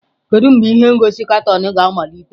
Kedu mgbe ihe ngosi katuunu ga-amalite?